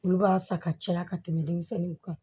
Olu b'a san ka caya ka tɛmɛ denmisɛnninw kan